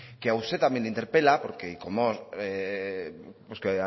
que a usted también le interpela porque como